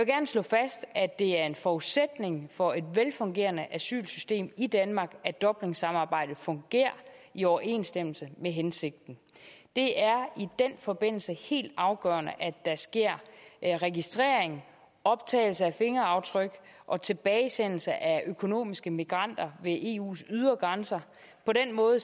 slå fast at det er en forudsætning for et velfungerende asylsystem i danmark at dublinsamarbejdet fungerer i overensstemmelse med hensigten det er i den forbindelse helt afgørende at der sker registrering optagelse af fingeraftryk og tilbagesendelse af økonomiske migranter ved eus ydre grænser på den måde